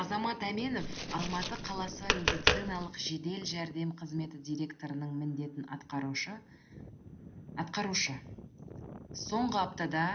азамат әменов алматы қаласы медициналық жедел жәрдем қызметі директорының міндетін атқарушы соңғы аптада